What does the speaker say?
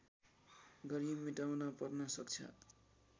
गरी मेटाउन पर्न सक्छ